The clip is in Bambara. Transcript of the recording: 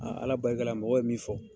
Ala barika la mɔgɔw ye min fɔ